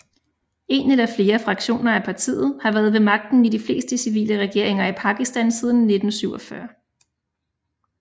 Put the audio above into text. En eller flere fraktioner af partiet har været ved magten i de fleste civile regeringer i Pakistan siden 1947